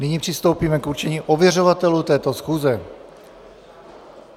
Nyní přistoupíme k určení ověřovatelů této schůze.